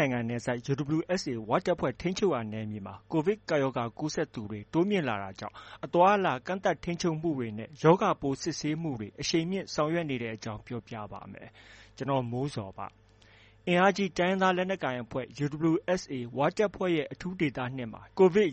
တ်နိုင်ငံနယ်စပ်က UWSA ဝတပ်ဖွဲ့ ထိန်းချုပ်ရာနယ်မြေမှာ ကိုဗစ်ကပ်ရောဂါကူးစက်သူတွေ တိုးလာနေတာကြောင့် အသွားအလာ ကန့်သတ်ထိန်းချုပ်မှုတွေနဲ့ ရောဂါပိုးစစ်ဆေးမှုတွေ အရှိန်မြှင့်ဆောင်ရွက်နေတဲ့အကြောင်း ပြောပြပါမယ်။ ဗွီအိုအေမြန်မာပိုင်း သတင်းထောက် ကိုမိုးဇော်က သတင်းပေးပို့ထားပါတယ်။ အင်အားကြီး တိုင်းရင်းသားလက်နက်ကိုင်အဖွဲ့ UWSA ဝတပ်ဖွဲ့ရဲ့ အထူးဒေသ ၂ မှာ ကိုဗစ်အ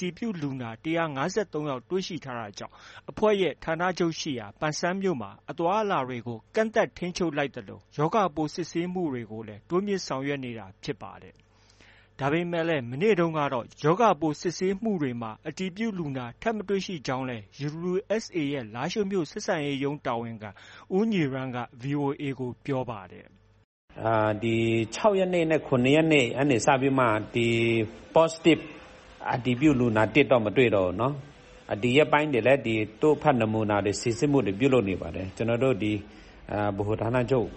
တည်ပြုလူနာ ၁၅၃ ယောက် တွေ့ရှိထားတာကြောင့် အဖွဲ့ရဲ့ဌာနချုပ်ရှိရာ ပန်ဆန်းမြို့မှာ အသွားအလာတွေကို ကန့်သတ်ထိန်းချုပ်လိုက်သလို ရောဂါပိုး စစ်ဆေးမှုတွေကိုလည်း တိုးမြှင့်ဆောင်ရွက်နေတာ ဖြစ်ပါတယ်။ ဒါပေမဲ့လည်း မနေ့တုန်းကအထိ ရောဂါပိုးစစ်ဆေးမှုတွေမှာ အတည်ပြုလူနာ ထပ်မတွေ့ရကြောင်းလည်း UWSA အဖွဲ့ရဲ့ လားရှိုးမြို့ ဆက်ဆံရေးရုံးတာဝန်ခံ ဦးညီရန်းက VOA ကို ပြောပါတယ်။ “ဒီ ၆ ရက်နေ့နဲ့ ၇ ရက်နေ့ကနေ စပြီးတော့မှာ Positive အတည်ပြုလူနာသစ်တော့ မတွေ့တော့ဘူးနော်။ ဒီရက်ပိုင်းတွေလည်း တို့ဖတ်နမူနာ စိစစ်မှုတွေ ပြုလုပ်နေပါတယ်။ ကျနော်တို့ ဒီဗဟိုဌာနချုပ်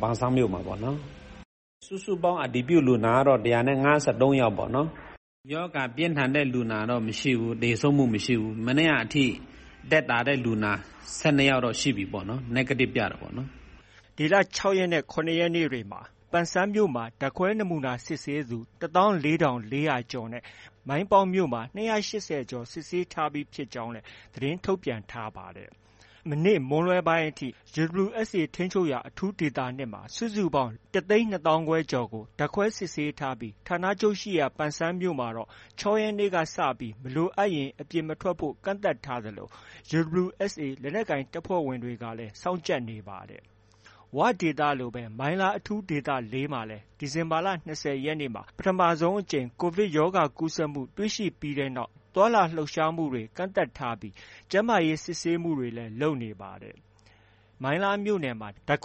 ပန်းဆန်းမြို့မှာပေါ့နော်။ စုစုပေါင်း အတည်ပြုလူနာကတော့ ၁၅၃ ယောက်ပေါ့နော်။ ရောဂါပြင်းထန်တဲ့လူနာတော့ မရှိဘူး။ သေဆုံးမှု မရှိဘူး။ မနေ့ကအထိ သက်သာတဲ့လူနာ ၁၂ ယောက်တော့ ရှိပြီပေါ့နော်။ Negative ပြတာပေါ့နော်။” UWSA ထိန်းချုပ်ရာ အထူးဒေသ ၂ မှာ လူပေါင်း ၁၂၅,၀၀၀ ကျော်ကို ဓာတ်ခွဲစစ်ဆေးထားပြီး၊ မနေ့မွန်းလွဲပိုင်းအထိ ပန်ဆန်းမြို့မှာ ဓာတ်ခွဲနမူနာစစ်ဆေးသူ ၁၄,၄၀၀ ကျော်နဲ့ မိုင်းပေါက်မြို့မှာ ၂၈၀ ကျော် စစ်ဆေးထားပြီး ဖြစ်ကြောင်းလည်း သတင်းထုတ်ပြန်ထားပါတယ်။ ဌာနချုပ်ရှိရာ ပန်ဆန်းမြို့မှာတော့ ၆ ရက်နေ့ညကစပြီး မလိုအပ်ရင် အပြင်မထွက်ဖို့ ကန့်သတ်ထားပြီး UWSA လက်နက်ကိုင် တပ်ဖွဲ့ဝင်တွေက စောင့်ကြပ်နေပါတယ်။ ဝဒေသလိုပဲ မိုင်းလား အထူးဒေသ ၄ မှာလည်း ဒီဇင်ဘာလ ၂၀ ရက်နေ့မှာ ပထမဆုံးအကြိမ် ကိုဗစ်ရောဂါကူးစက်မှု တွေ့ရှိခဲ့ပြီးနောက် သွားလာလှုပ်ရှားမှုတွေ ကန့်သတ်ထားပြီး၊ ကျန်းမာရေးစစ်ဆေးမှုတွေလည်း လုပ်နေပါတယ်။ NDAA မိုင်းလားအဖွဲ့ ထိ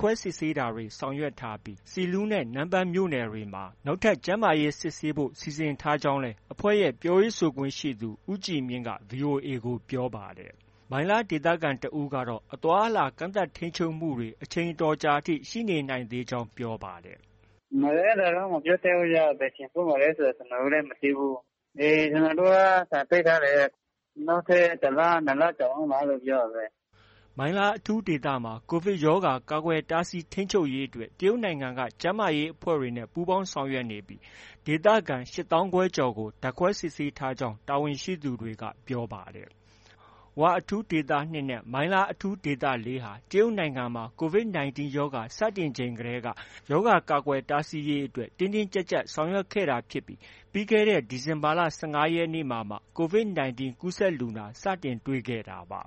န်းချုပ်ရာ ဆီလူးနဲ့ နမ့်ပန်းမြို့နယ်တွေမှာ နောက်ထပ် ကျန်းမာရေး စစ်ဆေးဖို့ စီစဉ်ထားကြောင်းလည်း အဖွဲ့ရဲ့ ပြောရေးဆိုခွင့်ရှိသူ ဦးကြည်မြင့်က VOA ကို ပြောခဲ့ပါတယ်။ မိုင်းလားမြို့ခံတစ်ဦးကတော့ အသွားအလာ ကန့်သတ်ထိန်းချုပ်မှုတွေ အချိန်အတော်ကြာအထိ ရှိနေနိုင်သေးတယ်လို့ ပြောပါတယ်။ “အဲဒါတော့ မပြောတတ်ဘူးဗျ။ ဘယ်ချိန်ဖွင့်မယ်ဆိုတာ ကျနော်တို့လည်း မသိဘူး။ ကျနော်တို့က ဆိုင်ပိတ်ထားတယ်။ နောက်ထပ် တစ်လ၊ နှစ်လ ကြာအုံးမှာ အဲဒီလို ပြောတာပဲ။” မိုင်းလား အထူးဒေသမှာ ကိုဗစ်ရောဂါ ကာကွယ်တားဆီးထိန်းချုပ်ရေးအတွက် တရုတ်နိုင်ငံက ကျန်းမာရေးအဖွဲ့နဲ့ ပူးပေါင်းဆောင်ရွက်နေပြီး ဒေသခံ ၈၅,၀၀၀ ကျော်ကို ဓာတ်ခွဲစစ်ဆေးထားကြောင်းလည်း တာဝန်ရှိသူတွေက ပြောပါတယ်။ ဝ အထူးဒေသ ၂ နဲ့ မိုင်းလား အထူးဒေသ ၄ ဟာ တရုတ်နိုင်ငံမှာ COVID 19 ရောဂါ စတင်ချိန်ကတည်းက ရောဂါ ကာကွယ်တားဆီးရေးအတွက် တင်းတင်းကြပ်ကြပ် ဆောင်ရွက်ခဲ့တာဖြစ်ပြီး ပြီးခဲ့တဲ့ ဒီဇင်ဘာလ ၁၅ ရက်နေ့မှာမှ COVID 19 ကူးစက်လူနာ စတင်တွေ့ရှိခဲ့တာပါ